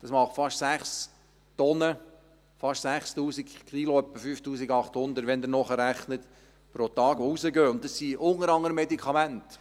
Das macht fast 6 Tonnen, fast 6000 Kilogramm, etwa 5800, wenn Sie nachrechnen, pro Tag, die rausgehen, und das sind unter anderem Medikamente.